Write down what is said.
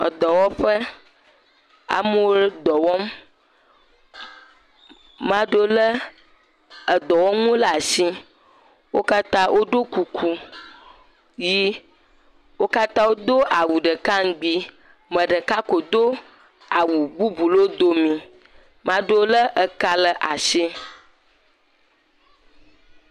Edɔwɔƒe, amewo dɔ wɔm, maɖewo lé edɔwɔnuwo le asi. Wo katã wodo kuku ʋɛ̃, wo katã wodo awu ɖeka ŋugbi, ame ɖeka ko do awu bubu ɖe wo dome, maɖewo lé eka le atsi.